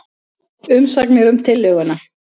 Umsagnir um tillöguna